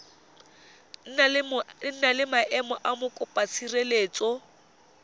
na le maemo a mokopatshireletso